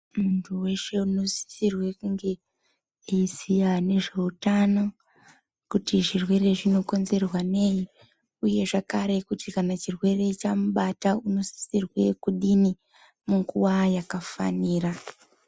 Muntu weshe unosisirwe kunge eiziya nezveutano kuti zvirwere zvinokonzerwa nei uye zvakare kuti kana chirwere chamubata unosisirwe kudini munguwa yakafanira.